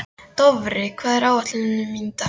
Dofri, hvað er á áætluninni minni í dag?